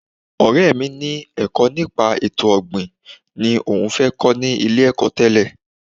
Ọ̀rẹ́ mi ni ẹ̀kọ́ nípa ètò ọ̀gbìn ni òun fẹ́ kọ́ ní ilé-ẹ̀kọ́ tẹ́lẹ̀